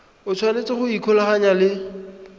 o tshwanetse go ikgolaganya le